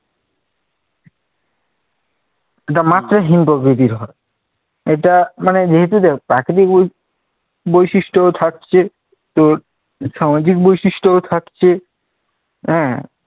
এটা মাত্রাহীন প্রকৃতির হয় এটা মানে যেহেতু দেখ প্রাকৃতিক বৈ বৈশিষ্ট্য থাকছে, তোর সামাজিক বৈশিষ্ট্যও থাকছে। হম